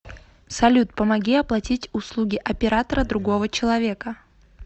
салют помоги оплатить услуги оператора другого человека